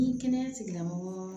Ni kɛnɛya tigilamɔgɔ